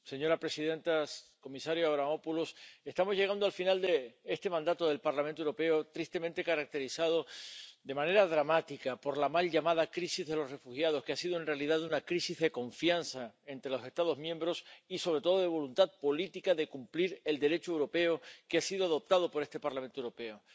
Señora presidenta, comisario Avramopoulos, estamos llegando al final de este mandato del Parlamento Europeo, tristemente caracterizado, de manera dramática, por la mal llamada crisis de los refugiados, que ha sido en realidad una crisis de confianza entre los Estados miembros y, sobre todo, de voluntad política de cumplir el Derecho europeo que ha sido adoptado por este Parlamento Europeo.